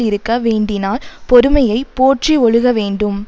இருக்க வேண்டினால் பொறுமையை போற்றி ஒழுக வேண்டும்